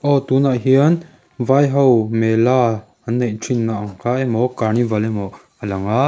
aw tunah hian vai ho mela an neih thin na ang kha emaw carnival emaw a lang a--